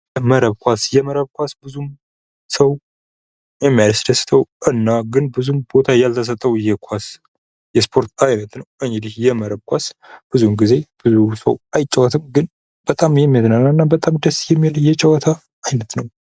መረብ ኳስ ፦ የመረብ ኳስ ብዙም ሰው የሚያስደስተው እና ግን ብዙም ቦታ ያልተሰጠው የኳስ የስፖርት አይነት ነው ። እንግዲህ የመረብ ኳስ ብዙውን ጊዜ ብዙ ሰው አይጫወትም ግን በጣም የሚያዝናና እና በጣም ደስ የሚል የጨዋታ አይነት ነው ።